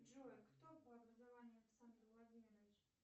джой кто по образованию александр владимирович